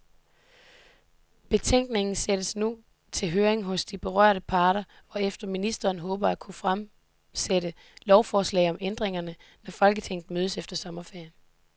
Betænkningen sendes nu til høring hos de berørte parter, hvorefter ministeren håber at kunne fremsætte lovforslag om ændringerne, når folketinget mødes efter sommerferien.